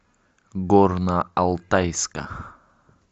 горно алтайска